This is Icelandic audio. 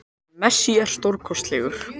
En Messi er stórkostlegur